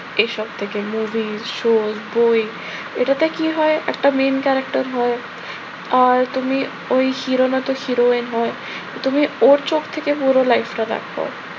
এসব থেকে movie show বই এটাতে কি হয়? একটা main character হয়। আর তুমি ওই hero র মত heroine হয়। তুমি ওর চোখ থেকে পুরো life টা দেখো।